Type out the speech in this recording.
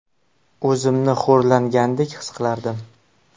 O‘zimni xo‘rlangandek his qilardim.